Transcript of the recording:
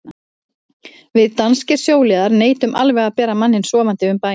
Við danskir sjóliðar neitum alveg að bera manninn sofandi um bæinn.